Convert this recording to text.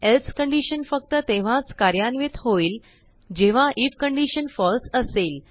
else condition फक्ततेव्हाच कार्यान्वित होईल जेव्हा ifकंडीशनfalseअसेल